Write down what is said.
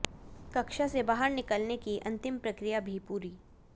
कक्षा से बाहर निकलने की अंतिम प्रक्रिया भी पूरी